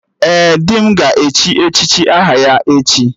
Ee, di m ga-echi echichi aha ya echi